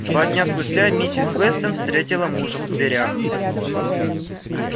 два дня спустя миссис вестон встретила мужа в дверях